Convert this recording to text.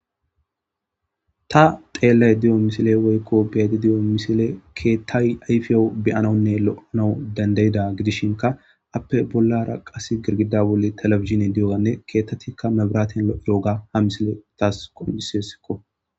Ta xelayidadiyo misile woyiko be,ayida diyo misile kethayi ayifiyawu be,anawunne lo,anawu dandayidaga gidishinka appe bollara qassi girgida bollan televidzine diyoga ketatika mebiraten lo,izoga ha misile tasi qonc,ises